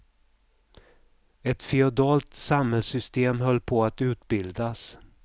Ett feodalt samhällssystem höll på att utbildas.